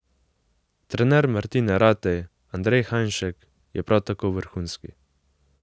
Trener Martine Ratej, Andrej Hajnšek, je prav tako vrhunski.